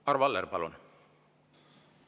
Arvo Aller, palun!